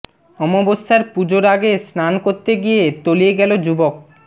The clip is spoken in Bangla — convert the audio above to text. অমাবস্যার পূজোর আগে স্নান করতে গিয়ে তলিয়ে গেল যুবক